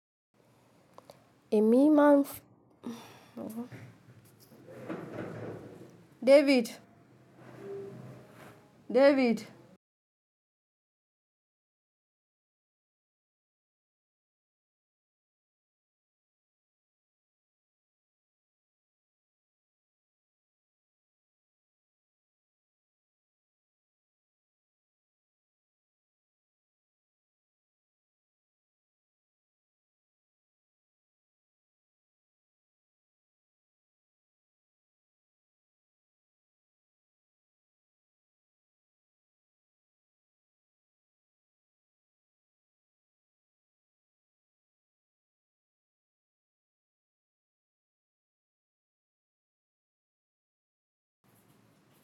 Emi máa ń David! David.